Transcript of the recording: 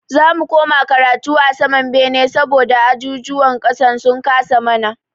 Za mu koma karatu a saman bene saboda ajujuwan ƙasan sun kasa mana.